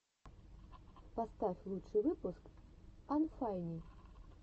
поставь лучший выпуск анфайни